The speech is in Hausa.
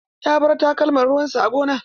Ya bar takalman ruwan sa a gona.